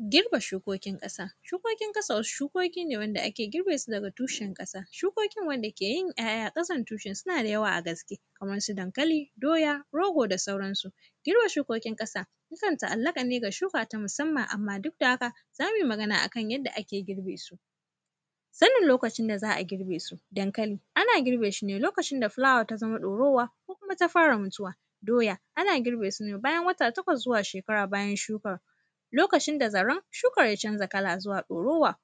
Girbe shukokin ƙasa. Shukokin ƙasa, shukoki ne wanda ake girbe su daga tushen ƙasa. Shukokin wanda ke yin ‘ya’ya a ƙasan tushen, suna da yawa a gaske, kaman su dankali, doya, rogo da sauransu. Girbe shukokin ƙasa, yakan ta’allaƙa ne ga shuka ta musaman, amma duk da haka, za mui magana a kan yanda ake girbe su. Sanin lokacin da za a girbe su, dankali, ana girbe shi ne lokacin da fulawa ta zama ɗorowa ko kuma ta fara mutuwa. Doya, ana girbe su ne bayan wata takwas zuwa shekara bayan shuka, lokacin da zaran shukar ya canza kala zuwa ɗorowa, -.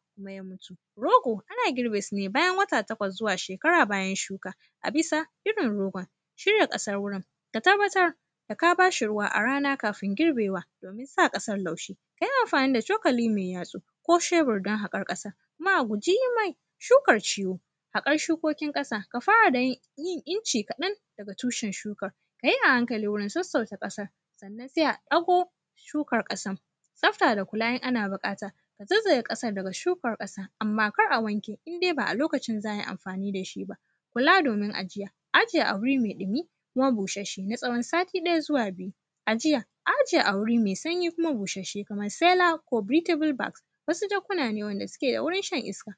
Rogo, ana girbe su ne bayan wata takwas zuwa shekara bayan shuka, a bisa irin rogon. Shirya ƙasar wurin, ka tabbatar da ka ba shi ruwa a rana kafin girbewa, domin sa ƙasar laushi. Ka yi amfani da cokali me yatsu ko shebur don haƙan ƙasa. Kuma a guji yi mai shukar ciwo. Haƙar shukokin ƙasa, ka fara da yin; yin inci kaɗan daga tushen shukan, ka yi a hankali wurin sassauta ƙasa. Sannan, se a ɗago shukar ƙasam. Tsafta da kula in ana biƙata, zaizaye ƙasar daga shukar ƙasa, amma kar a wanke in de ba a lokacin za ai amfani da shi ba. Kula domin ajiya, aje a wuri me ɗimi kuma busasshe na tsawon sati ɗaya zuwa biyu. Ajiya, ajiye a wuri me sanyi kuma busasshe kamar “selab” ko “britable bags”, wasu jakuna ne wanda suke da wurin shan iska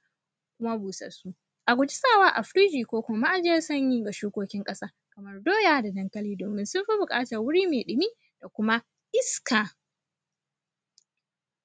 kuma busassu. A guji sawa a firiji ko kuma ma’ajiyar sanyi ga shukokin ƙasa kamar doya da dankali domin sun fi buƙatar wuri me ɗimi da kuma iska.